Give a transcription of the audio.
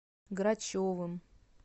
грачевым